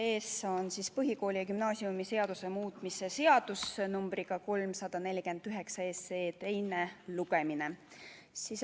Teie ees on põhikooli- ja gümnaasiumiseaduse muutmise seaduse eelnõu numbriga 349, teine lugemine.